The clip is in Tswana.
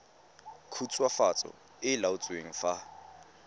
khutswafatso e e laotsweng fa